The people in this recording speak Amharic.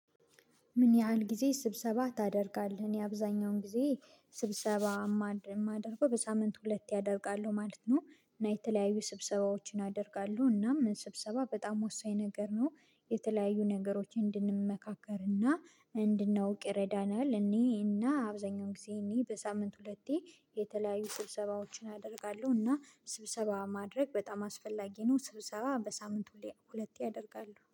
ምን ያህል ጊዜ ስብሰባ ታደርጋለህ? እኔ አብዛኛውን ጊዜ ስብሰባ የማደርገው በሳምንት ሁለቴ አደርጋለሁ ማለት ነው። እና የተለያዩ ስብሰባዎችን አደርጋሉ እናም ስብሰባ በጣም ወሳኝ ነገር ነው። የተለያዩ ነገሮችን እንድንመካከርና እንድናውቅ ይረዳናል። እኔና አብዛኛው ጊዜ እኔ በሳምንት ሁለቴ የተለያዩ ስብሰባዎችን አደርጋለሁ። እና ስብሰባ ማድረግ በጣም አስፈላጊ ነው። ስብሰባ በሳምንቱ ሁለቴ አደርጋሉ